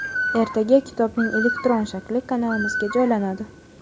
ertaga kitobning elektron shakli kanalimizga joylanadi.